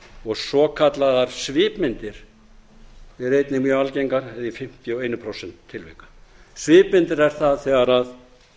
og svokallaðar svipmyndir eru einnig mjög algeng eða í fimmtíu og eitt prósent tilvika svipmyndir er það